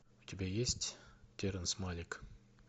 у тебя есть терренс малик